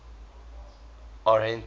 arhente